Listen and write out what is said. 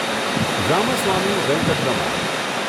Ramaswamy Venkataraman